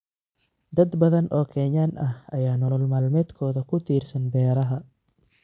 Dad badan oo Kenyan ah ayaa nolol maalmeedkooda ku tiirsan beeraha.